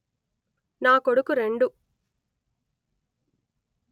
నా కొడుకు రెండు